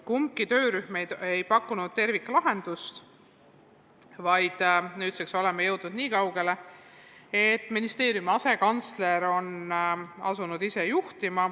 Kumbki töörühm ei pakkunud terviklahendust ja nüüdseks oleme jõudnud nii kaugele, et ministeeriumi asekantsler on asunud ise seda tööd tegema.